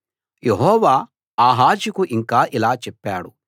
యెహోవా ఆహాజుకు ఇంకా ఇలా చెప్పాడు